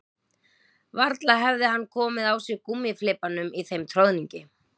Varla hefði hann komið á sig gúmmíflibbanum í þeim troðningi